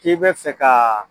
K'i bɛ fɛ ka